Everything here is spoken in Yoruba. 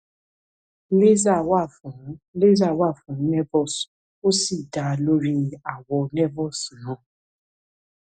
laser wà fún laser wà fún nevus ó sì dá lórí àwọ nevus náà